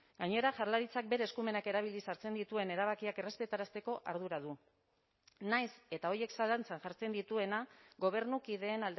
gainera jaurlaritzak bere eskumenak erabiliz hartzen dituen erabakiak errespetarazteko ardura du nahiz eta horiek zalantzan jartzen dituena gobernukideen